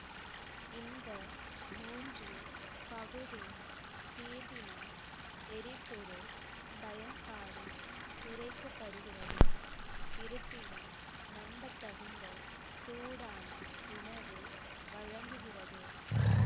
இந்த மூன்று பகுதி தீர்வினால் எரிபொருள் பயன்பாடு குறைக்கப்படுகிறது இருப்பினும் நம்பத்தகுந்த சூடான உணவு வழங்குகிறது